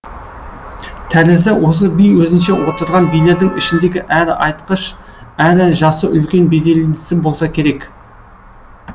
тәрізі осы би өзінше отырған билердің ішіндегі әрі айтқыш әрі жасы үлкен беделдісі болса керек